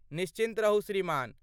निश्चिन्त रहू श्रीमान।